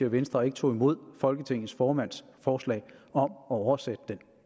venstre ikke tog imod folketingets formands forslag om at oversætte det